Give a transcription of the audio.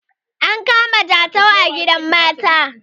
an kama jatau a gidan mata